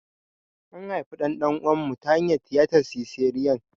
An haifi ɗan ɗan'uwana ta hanyar tiyatar siseriyan.